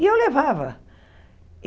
E eu levava.